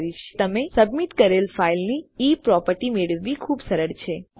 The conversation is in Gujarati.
તમે જોઈ શકો કે તમે સબમિટકરેલ ફાઈલ ની e પ્રોપર્ટી મેળવવી ખુબ સરળ છે